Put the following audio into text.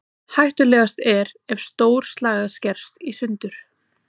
Hættulegast er ef stór slagæð skerst í sundur.